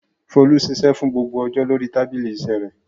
Folú ṣiṣẹ́ fún gbogbo ọjọ́ lórí tábìlì iṣẹ́ rẹ̀.